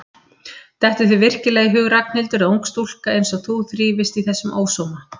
Dettur þér virkilega í hug Ragnhildur að ung stúlka einsog þú þrífist í þessum ósóma?